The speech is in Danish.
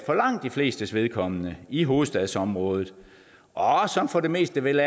for langt de flestes vedkommende er i hovedstadsområdet og som for det meste vel